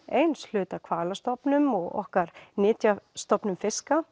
eins hluta af hvalastofnum og okkar nytjastofnum fiska